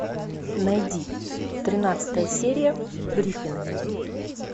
найди тринадцатая серия гриффины